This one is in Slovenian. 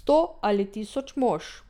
Sto ali tisoč mož?